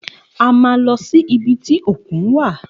A má lọ sí ibi tí òkun wa